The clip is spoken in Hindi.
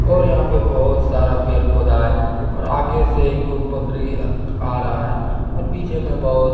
और यहां पे बहुत सारा पेड़ पौधा है और आगे से एगो बकरी आ रहा है और पीछे में बहोत।